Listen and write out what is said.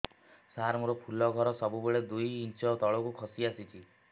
ସାର ମୋର ଫୁଲ ଘର ସବୁ ବେଳେ ଦୁଇ ଇଞ୍ଚ ତଳକୁ ଖସି ଆସିଛି